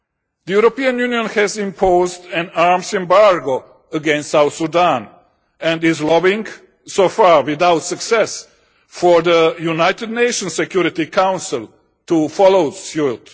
The European Union has imposed an arms embargo against South Sudan and is lobbying so far without success for the United Nations Security Council to follow suit.